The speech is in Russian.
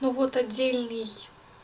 вот отдельный